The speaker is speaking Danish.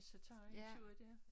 Så tager i en tur dér